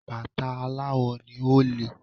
Bàtà aláwò ni, ó le.